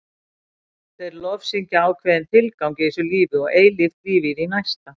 Þeir lofsyngja ákveðinn tilgang í þessu lífi og eilíft líf í því næsta.